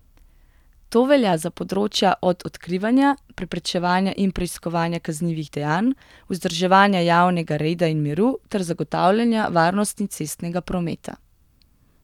To velja za področja od odkrivanja, preprečevanja in preiskovanja kaznivih dejanj, vzdrževanja javnega reda in miru ter zagotavljanja varnosti cestnega prometa.